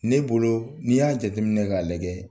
Ne bolo n'i y'a jateminɛ ka lajɛ